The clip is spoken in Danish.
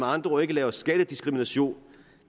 andre ord ikke lave skattediskrimination